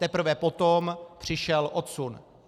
Teprve potom přišel odsun.